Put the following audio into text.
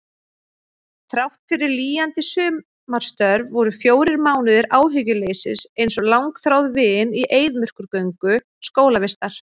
Þráttfyrir lýjandi sumarstörf voru fjórir mánuðir áhyggjuleysis einsog langþráð vin í eyðimerkurgöngu skólavistar.